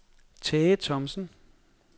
Tage Thomsen